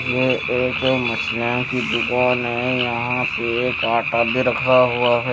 ये एक मछलियों की दुकान है यहां पे एक आटा भी रखा हुआ है।